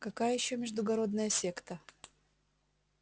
какая ещё междугородная секта